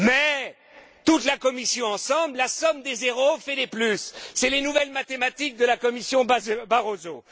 Mais, toute la Commission ensemble, la somme des zéros fait des plus. Ce sont les nouvelles mathématiques de la Commission Barroso.